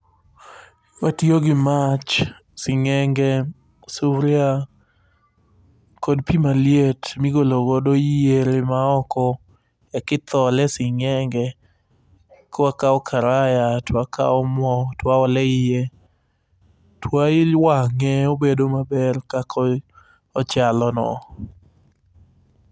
Watiyo gi mach, sing'enge, suria kod pi maliet migolo godo yiere maoko. Ekithole e sing'enge, eka wakawo karaya to wakawo mo to waolo eiye, toiwang'e obedo maber kaka ko ochalono.